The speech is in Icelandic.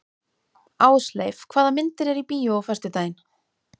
Ásleif, hvaða myndir eru í bíó á föstudaginn?